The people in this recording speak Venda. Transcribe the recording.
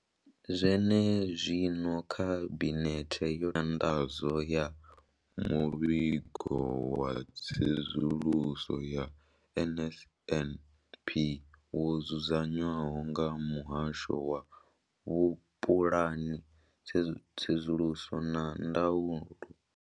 Zwenezwino, khabinethe yo nyanḓadzo ya muvhigo wa tsedzuluso ya NSNP wo dzudzanywaho nga muhasho wa vhupulani, tsedzuluso na ndaulo.